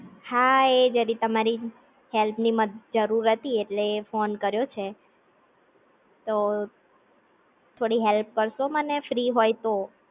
હા એ જરી તમારી હેલ્પ ની મ જરૂર હતી એટલે ફોન કર્યો છે તો થોડી હેલ્પ કારસો મને ફ્રી હોય તો?